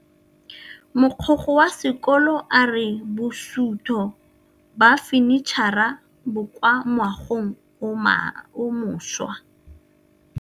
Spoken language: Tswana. Mogokgo wa sekolo a re bosutô ba fanitšhara bo kwa moagong o mošwa.